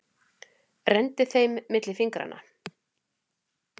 Renndi þeim milli fingranna.